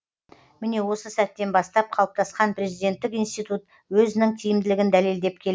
міне осы сәттен бастап қалыптасқан президенттік институт өзінің тиімділігін дәлелдеп келеді